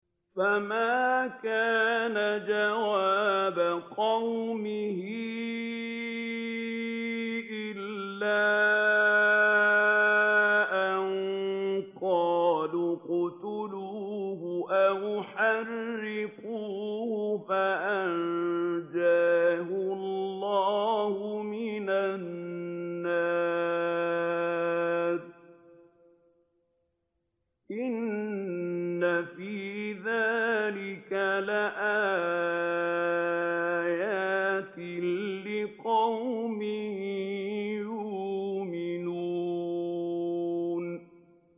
فَمَا كَانَ جَوَابَ قَوْمِهِ إِلَّا أَن قَالُوا اقْتُلُوهُ أَوْ حَرِّقُوهُ فَأَنجَاهُ اللَّهُ مِنَ النَّارِ ۚ إِنَّ فِي ذَٰلِكَ لَآيَاتٍ لِّقَوْمٍ يُؤْمِنُونَ